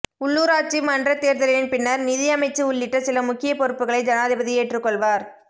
உள்ளுராட்சி மன்றத் தேர்தலின் பின்னர் நிதி அமைச்சு உள்ளிட்ட சில முக்கிய பொறுப்புக்களை ஜனாதிபதி ஏற்றுக்கொள்வார்